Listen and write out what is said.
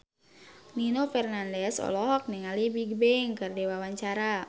Nino Fernandez olohok ningali Bigbang keur diwawancara